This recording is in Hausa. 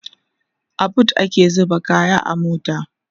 a booth ake zuba kaya a mota